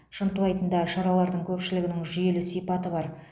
шынтуайтында шаралардың көпшілігінің жүйелі сипаты бар